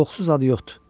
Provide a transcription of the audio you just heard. Qorxusuz adı yoxdur.